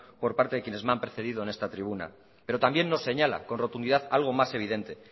por parte de quienes me han precedido en esta tribuna pero también nos señala con rotundidad algo más evidente